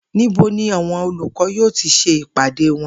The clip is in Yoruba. Níbo ni àwo̩n olùkó̩ yóò ti s̩e ìpàdé wo̩n?